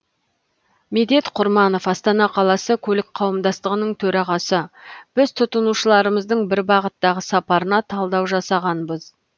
медет құрманов астана қаласы көлік қауымдастығының төрағасы біз тұтынушыларымыздың бір бағыттағы сапарына талдау жасағанбыз